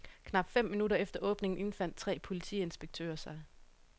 Knap fem minutter efter åbningen indfandt tre politiinspektører sig.